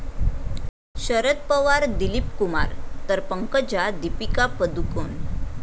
शरद पवार 'दिलीपकुमार' तर पंकजा 'दीपिका पदुकोण'